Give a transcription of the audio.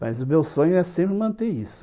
Mas o meu sonho é sempre manter isso.